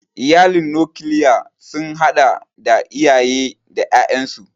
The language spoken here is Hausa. Iyalin nokilya sun hada da iyaye da ƴaƴansu.